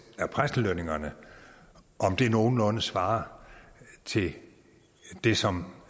af præstelønningerne nogenlunde svarer til det som